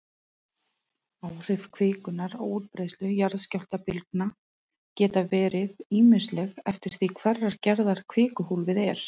Áhrif kvikunnar á útbreiðslu jarðskjálftabylgna geta verið ýmisleg eftir því hverrar gerðar kvikuhólfið er.